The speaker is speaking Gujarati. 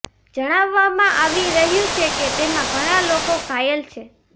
જણાવવામાં આવી રહ્યુ છે કે તેમાં ઘણા લોકો ઘાયલ છે